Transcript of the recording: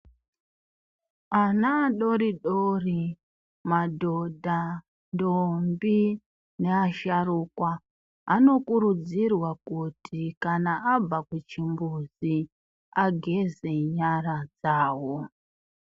Ana adori dori, madhodha, ntombi neasharuka anokurudzirwa kuti kana abva kuchimbuzi ageze nyara dzawo.